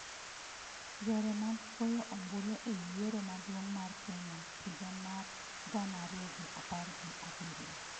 Yore mag goyo ombulu e yiero maduong' mar Kenya higa mar gana ariyo gi apar gi abiriyo